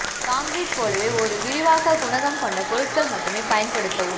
concrete போலவே ஒரு விரிவாக்கம் குணகம் கொண்ட பொருட்கள் மட்டுமே பயன்படுத்தவும்